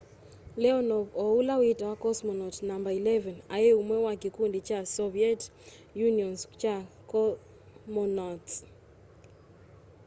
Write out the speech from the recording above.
leonov o ũla witawa cosmonaũt no 11 aĩ ũmwe wa kĩkũndĩ kya soviet unioon's kya comonauts